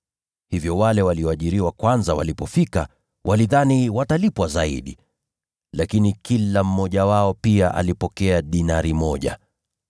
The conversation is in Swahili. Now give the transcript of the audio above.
Hivyo wale walioajiriwa kwanza walipofika, walidhani watalipwa zaidi. Lakini kila mmoja wao pia alipokea dinari moja.